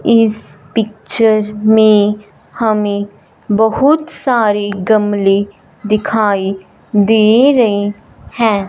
इस पिक्चर में हमें बहुत सारे गमले दिखाई दे रहें हैं।